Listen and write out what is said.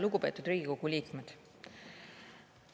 Lugupeetud Riigikogu liikmed!